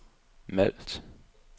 Malt